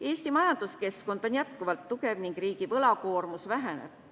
Eesti majanduskeskkond on jätkuvalt tugev ning riigi võlakoormus väheneb.